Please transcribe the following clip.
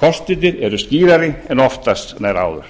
kostirnir eru skýrari en oftast nær áður